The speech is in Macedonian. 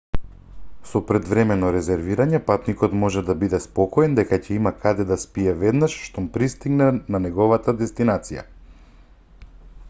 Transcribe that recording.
со предвремено резервирање патникот може да биде спокоен дека ќе има каде да спие веднаш штом пристигне на неговата дестинација